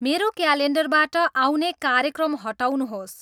मेरो क्यालेन्डरबाट आउने कार्यक्रम हटाउनुहोस्